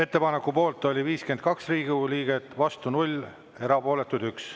Ettepaneku poolt oli 52 Riigikogu liiget, vastu 0, erapooletuid 1.